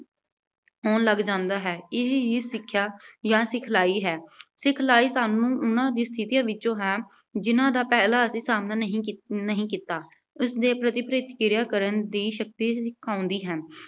ਹੋਣ ਲੱਗ ਜਾਂਦਾ ਹੈ। ਇਹੀ ਹੀ ਸਿੱਖਿਆ ਜਾਂ ਸਿਖਲਾਈ ਹੈ। ਸਿਖਲਾਈ ਸਾਨੂੰ, ਉਨ੍ਹਾਂ ਹੀ ਸਥਿਤੀਆਂ ਵਿੱਚੋਂ ਹੈ, ਜਿਨ੍ਹਾਂ ਦਾ ਪਹਿਲਾਂ ਅਸੀਂ ਸਾਹਮਣਾ ਨਹੀਂ ਕੀਤ ਅਹ ਨਹੀਂ ਕੀਤਾ। ਇਸਦੇ ਕਿਰਿਆ ਕਰਨ ਦੀ ਸ਼ਕਤੀ ਸਿਖਾਉਂਦੀ ਹੈ।